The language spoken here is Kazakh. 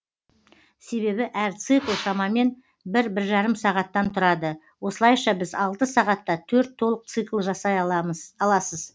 себебі әр цикл шамамен бір бір жарым сағаттан тұрады осылайша сіз алты сағатта төрт толық цикл жасай аласыз